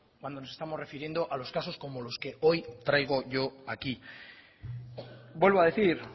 cuando nos estamos refiriendo a los casos como los que hoy traigo yo aquí vuelvo a decir